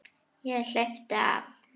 Ég hleypti af.